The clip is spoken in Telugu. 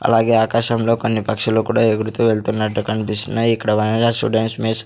అలాగే ఆకాశంలో కొన్ని పక్షులు కూడా ఎగురుతూ వెళ్తున్నట్టు కనిపిస్తున్నాయి ఇక్కడ వనజ స్టూడెంట్స్ మెస్ --